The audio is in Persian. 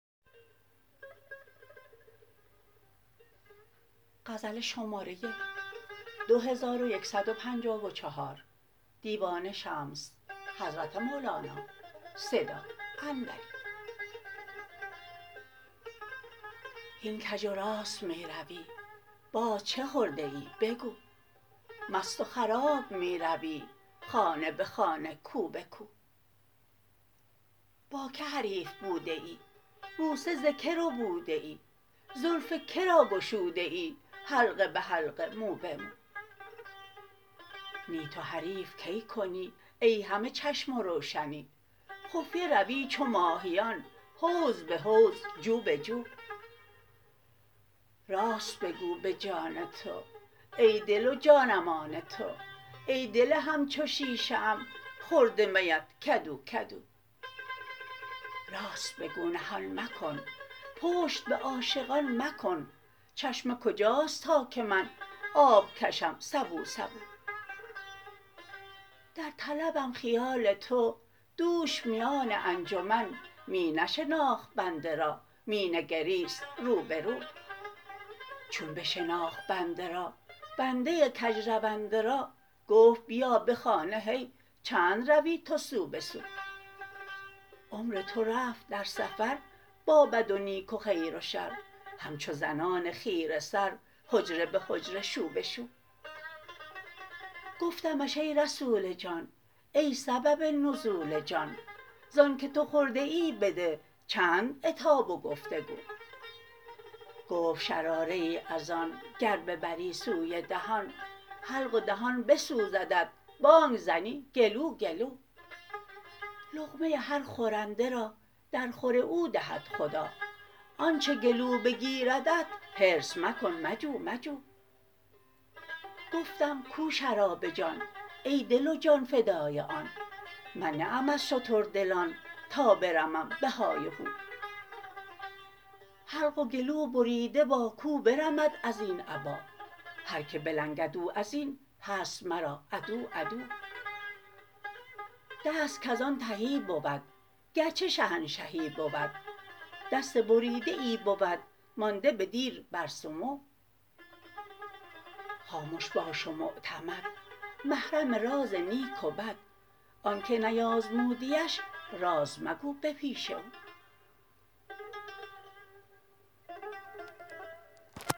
هین کژ و راست می روی باز چه خورده ای بگو مست و خراب می روی خانه به خانه کو به کو با کی حریف بوده ای بوسه ز کی ربوده ای زلف که را گشوده ای حلقه به حلقه مو به مو نی تو حریف کی کنی ای همه چشم و روشنی خفیه روی چو ماهیان حوض به حوض جو به جو راست بگو به جان تو ای دل و جانم آن تو ای دل همچو شیشه ام خورده میت کدو کدو راست بگو نهان مکن پشت به عاشقان مکن چشمه کجاست تا که من آب کشم سبو سبو در طلبم خیال تو دوش میان انجمن می نشناخت بنده را می نگریست رو به رو چون بشناخت بنده را بنده کژرونده را گفت بیا به خانه هی چند روی تو سو به سو عمر تو رفت در سفر با بد و نیک و خیر و شر همچو زنان خیره سر حجره به حجره شو به شو گفتمش ای رسول جان ای سبب نزول جان ز آنک تو خورده ای بده چند عتاب و گفت و گو گفت شراره ای از آن گر ببری سوی دهان حلق و دهان بسوزدت بانگ زنی گلو گلو لقمه هر خورنده را درخور او دهد خدا آنچ گلو بگیردت حرص مکن مجو مجو گفتم کو شراب جان ای دل و جان فدای آن من نه ام از شتردلان تا برمم به های و هو حلق و گلوبریده با کو برمد از این ابا هر کی بلنگد او از این هست مرا عدو عدو دست کز آن تهی بود گرچه شهنشهی بود دست بریده ای بود مانده به دیر بر سمو خامش باش و معتمد محرم راز نیک و بد آنک نیازمودیش راز مگو به پیش او